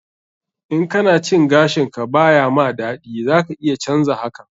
In kana cin gashin ka ba ya ma daɗi, za ka iya canza hakan.